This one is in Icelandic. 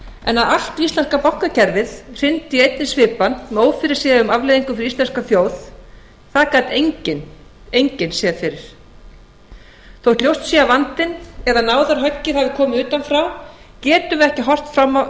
en að allt íslenska bankakerfið hryndi í einni svipan með ófyrirsjáanlegum afleiðingum fyrir íslenska þjóð það gat enginn séð fyrir þótt ljóst sé að vandinn eða náðarhöggið hafi komið utan frá þá getum við ekki horft fram